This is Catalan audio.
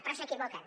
però s’equivoquen